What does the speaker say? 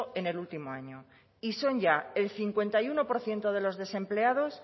en el último año y son ya el cincuenta y uno por ciento de los desempleados